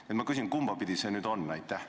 Nii et ma küsin: kumbapidi see nüüd on?